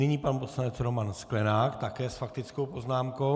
Nyní pan poslanec Roman Sklenák také s faktickou poznámkou.